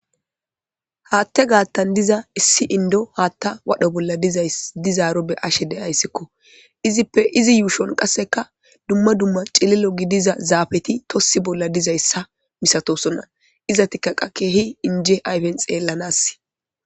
haatte gaattan diza issi indo haatta wadho bolla dizay dizaaro be'ashe deayssikko izippe izi yuushon qasseka dumma dumma cililo gidiza zaafeti tossi bolla dizayssa misatosonna iza tikkaqa keehi inje ayfen xeellanass